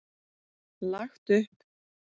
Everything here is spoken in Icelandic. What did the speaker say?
Lagt upp.